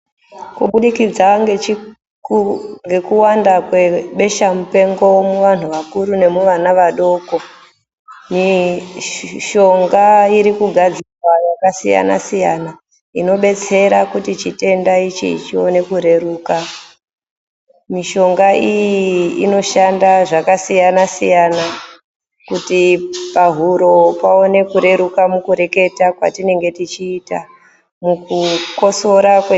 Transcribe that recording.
Kubudikidza ngekuwanda kwe besha mpengo muvantu vakuru nemuvana vadoko, mishonga irikugadzirwa yakasiyana siyana inobetsera kuti chitenda ichi chione kureruka. Mishonga iyi inoshanda zvakasiyana siyana kuti pahuro kuti pahuro paone kureruka muku reketa kwatinenge tichiita mukukosora kwe...